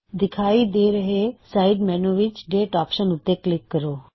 ਦਿਖਾਈ ਦੇ ਰਹੇ ਸਾਇਡ ਮੈਨੂ ਵਿੱਚ ਡੇਟ ਆਪਸ਼ਨ ਉੱਤੇ ਕਲਿੱਕ ਕਰੋ